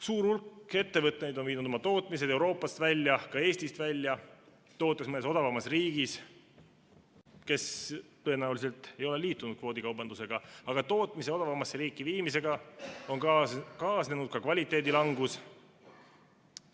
Suur hulk ettevõtteid on viinud oma tootmise Euroopast välja, ka Eestist välja, tootes mõnes odavamas riigis, kes tõenäoliselt ei ole liitunud kvoodikaubandusega, aga tootmise odavamasse riiki viimisega on kaasnenud ka kvaliteedi langus.